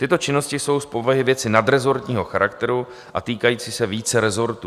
Tyto činnosti jsou z povahy věci nadrezortního charakteru a týkající se více rezortů.